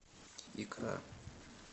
икра